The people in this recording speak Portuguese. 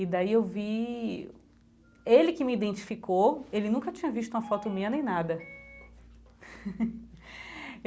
E daí eu vi... ele que me identificou, ele nunca tinha visto uma foto minha nem nada.